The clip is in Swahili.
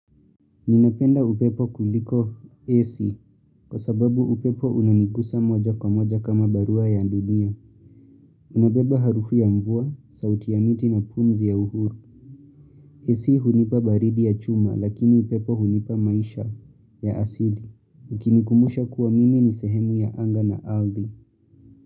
Ninapenda upepo kuliko AC kwa sababu upepo unanigusa moja kwa moja kama barua ya dunia. Unabeba harufi ya mvua, sauti ya miti na pumzi ya uhuru. AC hunipa baridi ya chuma lakini upepo hunipa maisha ya asili. Ukinikumbusha kuwa mimi ni sehemu ya anga na ardhi.